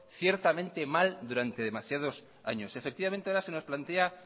ciertamente mal durante demasiado años efectivamente ahora se nos plantea